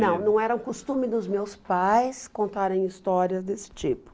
Não, não era um costume dos meus pais contarem histórias desse tipo.